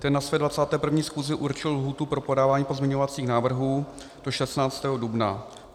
Ten na své 21. schůzi určil lhůtu pro podávání pozměňovacích návrhů do 16. dubna.